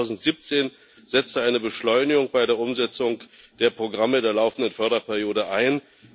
Erst 2017 setzte eine Beschleunigung bei der Umsetzung der Programme der laufenden Förderperiode ein.